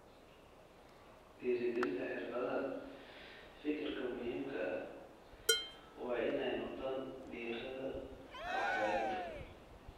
Dhiirigelinta xirfadaha fikirka muhiimka ah waa in ay noqdaan diiradda waxbarida.